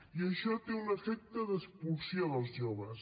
i això té un efecte d’expulsió dels joves